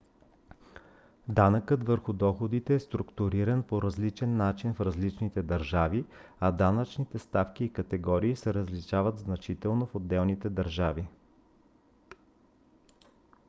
данъкът върху доходите е структуриран по различен начин в различните държави а данъчните ставки и категории се различават значително в отделните държави